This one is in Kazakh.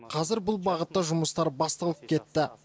қазір бұл бағытта жұмыстар басталып кетті